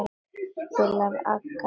Spila agað!